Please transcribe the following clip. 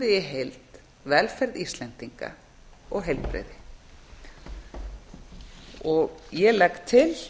við í heild velferð íslendinga og heilbrigði herra forseti ég legg til